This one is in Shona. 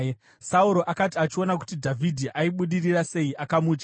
Sauro akati achiona kuti Dhavhidhi aibudirira sei, akamutya.